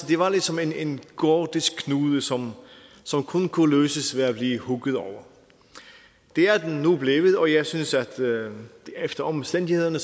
det var ligesom en gordisk knude som kun kunne løses ved at blive hugget over det er den nu blevet og jeg synes at det efter omstændighederne